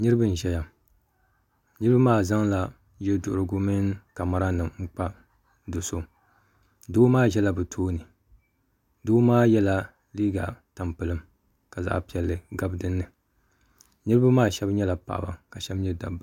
Niriba n zaya niriba maa zaŋla yeduhurigu mini Camara nim n kpa do so doo maa zɛla bi too ni doo maa yɛla liiga tampilim kazaɣa piɛli gabi dini niriba maa ahɛb nyɛla paɣaba ka shɛb nyɛ dabba